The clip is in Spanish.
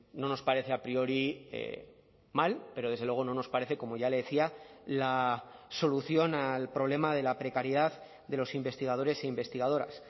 no nos parece a priori mal pero desde luego no nos parece como ya le decía la solución al problema de la precariedad de los investigadores e investigadoras